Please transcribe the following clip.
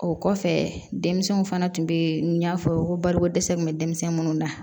O kɔfɛ denmisɛnninw fana tun be yen n y'a fɔ ko bariko dɛsɛ kun be denmisɛn munnu na